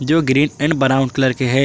जो green and brown colour के है।